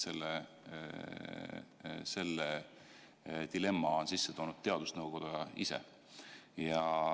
Selle dilemma on sisse toonud teadusnõukoda ise.